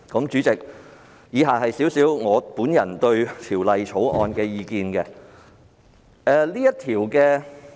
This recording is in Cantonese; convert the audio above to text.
主席，以下是我對《條例草案》的意見。